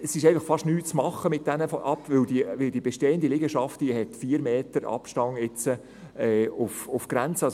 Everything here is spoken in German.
Damit ist einfach fast nichts zu machen, weil die bestehen de Liegenschaft 4 Meter Abstand zur Grenze hat.